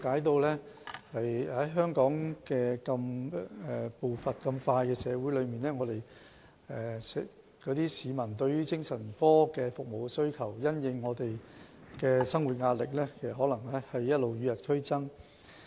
在香港這個步伐急速的社會裏，當局非常了解市民對精神科服務的需求，可能會因應生活壓力而與日俱增。